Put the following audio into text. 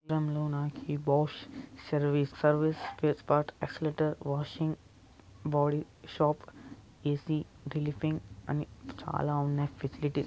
ఈ చిత్రంలో నాకి Bosch service service spares parts accelerator washing body shop A C అని చాలా ఉన్నాయి ఫెసిలిటీస్ .